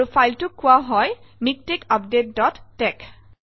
আৰু ফাইলটোক কোৱা হয় মিকটেক্স আপডেট ডট tex